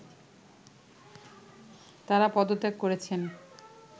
তারা পদত্যাগ করেছেন